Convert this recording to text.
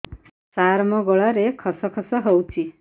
ସାର ମୋ ଗଳାରେ ଖସ ଖସ ହଉଚି